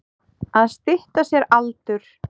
Að stytta sér aldur.